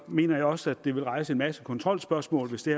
mener jeg også at det vil rejse en masse kontrolspørgsmål hvis det